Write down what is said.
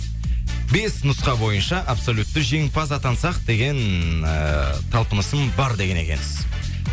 бес нұсқа бойынша абсолютті жеңімпаз атансақ деген ііі талпынысым бар деген екенсіз